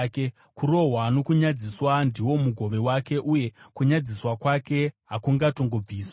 Kurohwa nokunyadziswa ndiwo mugove wake, uye kunyadziswa kwake hakungatongobviswi;